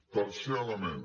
tercer element